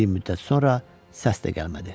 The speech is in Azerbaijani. Bir müddət sonra səs də gəlmədi.